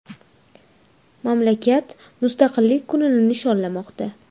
Mamlakat Mustaqillik kunini nishonlamoqda.